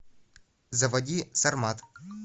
заводи сармат